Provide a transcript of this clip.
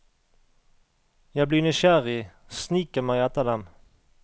Jeg blir nysgjerrig, sniker meg etter dem.